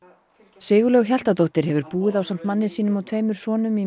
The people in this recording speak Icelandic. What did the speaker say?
Sigurlaug Hjaltadóttir hefur búið ásamt manni sínum og tveimur sonum í